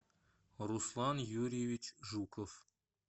руслан юрьевич жуков